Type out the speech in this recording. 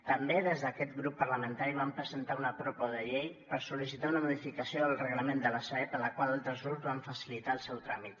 també des d’aquest grup parlamentari vam presentar una proposta de llei per sollicitar una modificació del reglament de la sareb a la qual altres grups van facilitar el seu tràmit